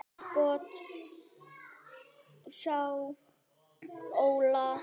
Gott hjá Óla.